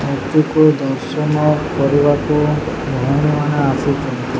ମୂର୍ତ୍ତିକୁ ଦର୍ଶନ କରିବାକୁ ଭୋଉଣୀମାନେ ଆସିଚନ୍ତି।